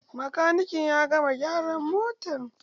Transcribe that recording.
Makaniki ya gama gyaran motan?